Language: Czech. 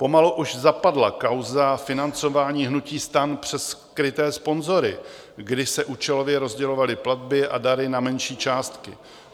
Pomalu už zapadla kauza financování hnutí STAN přes skryté sponzory, kdy se účelově rozdělovaly platby a dary na menší částky.